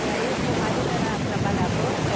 E aí o seu marido era trabalhador?